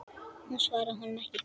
Hún svaraði honum ekki.